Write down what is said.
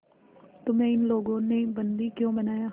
तुम्हें इन लोगों ने बंदी क्यों बनाया